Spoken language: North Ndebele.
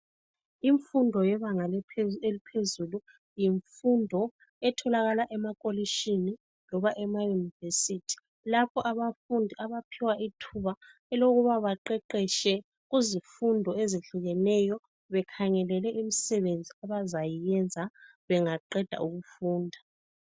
Imfundo yebanga eliphezulu, yimfundo etholakala emakolishini loba emauniversity. Lapho abafundi abaphiwa ithuba lokuthi baqeqeshe, bekhangelele imisebenzi abayenza. Bangaqeda ukufunda.